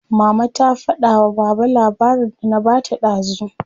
Mama ta fada wa baba labarin da na bata dazu.